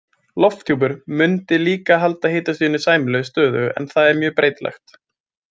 Lofthjúpur mundi líka halda hitastiginu sæmilega stöðugu en það er mjög breytilegt.